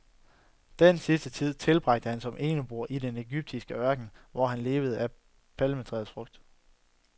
De sidste tid tilbragte han som eneboer i den egyptiske ørken, hvor han levede af palmetræets frugter.